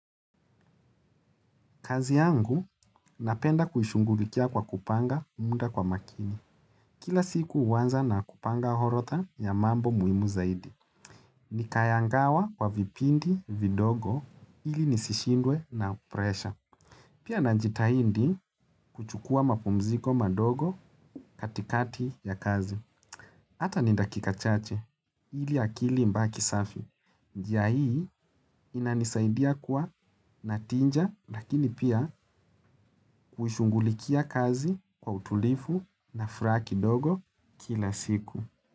Kazi yangu napenda kuishughulikia kwa kupanga muda kwa makini. Kila siku huanza na kupanga orodha ya mambo muhimu zaidi. Nikayagawa kwa vipindi vidogo ili nisishindwe na presha. Pia najitahidi kuchukua mapumziko madogo katikati ya kazi. Hata ni dakika chache ili akili ibaki safi. Njia hii inanisaidia kuwa na tija lakini pia huishughulikia kazi kwa utulivu na furaha kidogo kila siku.